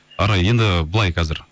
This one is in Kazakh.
арай енді былай қазір